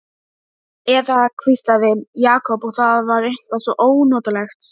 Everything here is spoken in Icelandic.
Eða hvíslaði, Jakob, og það var eitthvað svo ónotalegt.